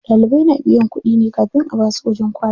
Ɗalibai na biyan kuɗi ne kafin a basu wajen kwana.